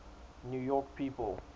new york people